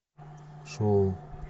шоу